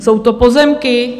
Jsou to pozemky?